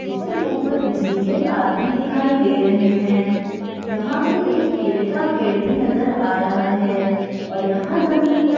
जिसके ऊपर बिजली के तार भी दिखाई दे रहे हैं यहां पर एक केले का पेड़ भी नजर आ रहा है और यहां जमीन पर --